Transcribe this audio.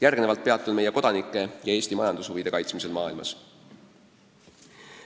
Järgmisena peatun meie kodanike ja Eesti majandushuvide kaitsmisel maailmas.